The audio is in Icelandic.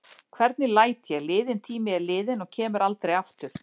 Hvernig læt ég: liðinn tími er liðinn og kemur aldrei aftur.